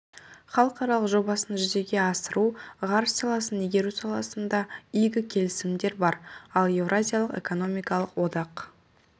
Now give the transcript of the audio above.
халықаралық жобасын жүзеге асыру ғарыш саласын игеру саласында игі келісімдер бар ал еуразиялық экономикалық одақ